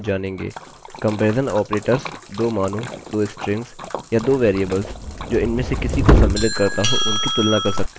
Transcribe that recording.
comparison operators 2 मानों 2 strings या 2 variables जो इनमें से किसी को सम्मिलित करता हो उनकी तुलना कर सकते हैं तथा उस पर कार्य करेंगे